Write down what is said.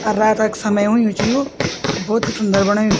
अर रात क समय हुयुं च यु भोत ही सुंदर बणायु।